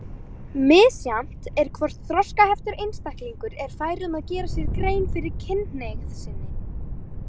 Misjafnt er hvort þroskaheftur einstaklingur er fær um að gera sér grein fyrir kynhneigð sinni.